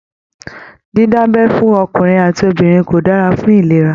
Dida'bẹ́ fún ọkùnrin àti obìnrin kò dára fún ìlera.